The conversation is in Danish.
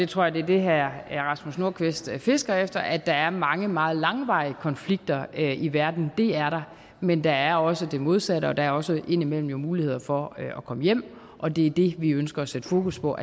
tror det er det herre rasmus nordqvist fisker efter at der er mange meget langvarige konflikter i verden det er der men der er også det modsatte og der er også indimellem mulighed for at komme hjem og det er det vi ønsker at sætte fokus på